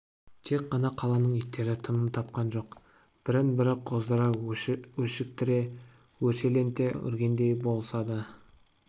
тек қана қаланың иттері тыным тапқан жоқ бірін-бірі қоздыра өшіктіре өршеленте үргендей болысады